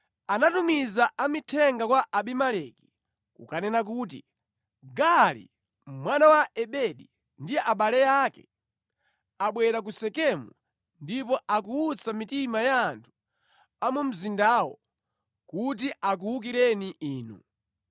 Anatumiza amithenga kwa Abimeleki, kukanena kuti, “Gaali mwana wa Ebedi ndi abale ake abwera ku Sekemu ndipo akuwutsa mitima ya anthu a mu mzindawo kuti akuwukireni inu.